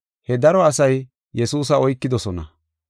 He daro asay Yesuusa oykidosona.